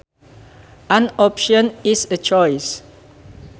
An option is a choice